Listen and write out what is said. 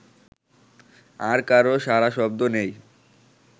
আর কারো সাড়াশব্দ নেই